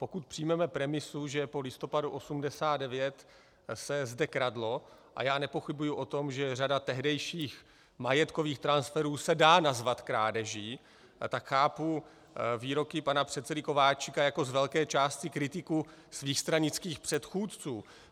Pokud přijmeme premisu, že po listopadu 1989 se zde kradlo, a já nepochybuji o tom, že řada tehdejších majetkových transferů se dá nazvat krádeží, tak chápu výroky pana předsedy Kováčika jako z velké části kritiku svých stranických předchůdců.